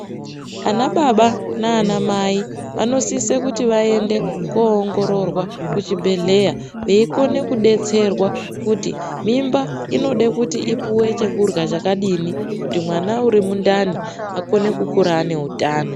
Anababa naanamai vanosise kuti vaende koongororwa kuchibhedhlera veiakone kudetserwa kuti mimba inode kuti ipuwe chekurya chakadini kuti mwana uri mundani ukone kukura ane utano.